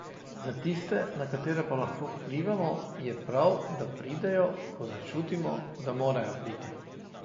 Za tiste, na katere pa lahko vplivamo, je prav, da pridejo, ko začutimo, da morajo priti.